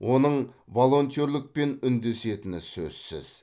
оның волонтерлікпен үндесетіні сөзсіз